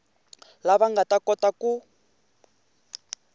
lava nga ta kota ku